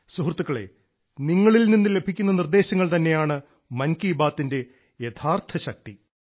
സുഹൃത്തുക്കളെ നിങ്ങളിൽ നിന്ന് ലഭിക്കുന്ന നിർദ്ദേശങ്ങൾ തന്നെയാണ് മൻ കി ബാത്തിന്റെ യഥാർത്ഥ ശക്തി